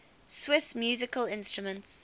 swiss musical instruments